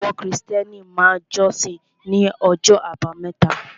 Àwọn Krìstẹ́nì máa jọ́sìn ní ọjọ́ àbámẹ́ta